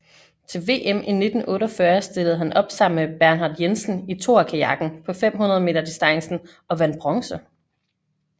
Til VM i 1948 stillede han op sammen med Bernhard Jensen i toerkajakken på 500 m distancen og vandt bronze